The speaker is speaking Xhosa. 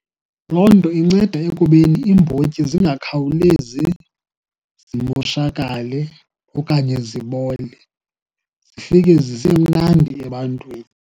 Loo nto inceda ekubeni iimbotyi zingakhawulezi zimoshakale okanye zibole, zifike zisemnandi ebantwini.